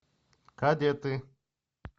кадеты